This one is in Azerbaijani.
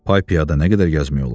Pay-piyada nə qədər gəzmək olar?